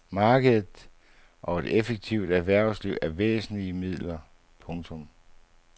Markedet og et effektivt erhvervsliv er væsentlige midler. punktum